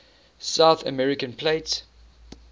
south american plate